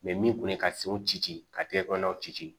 min kun ye ka senw ci ci ka tiga kɔnɔnaw ci ci